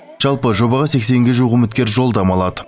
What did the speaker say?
жалпы жобаға сексенге жуық үміткер жолдама алады